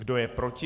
Kdo je proti?